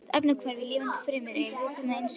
Flest efnahvörf í lifandi frumu eru hvötuð af ensímum.